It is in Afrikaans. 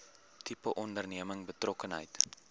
tipe onderneming betrokkenheid